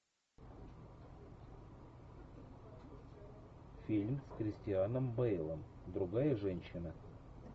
фильм с кристианом бейлом другая женщина